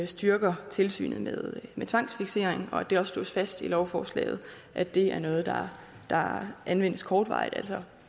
styrker tilsynet med tvangsfiksering og at det også slås fast i lovforslaget at det er noget der anvendes kortvarigt altså